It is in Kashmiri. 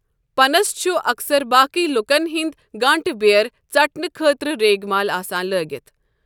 پنَس چھُ اکثر باقی لوکَن ہنٛدۍ گانٛٹہٕ بیٛٲر ژٹنہٕ خٲطرٕ ریگمال آسان لٲگِتھ۔۔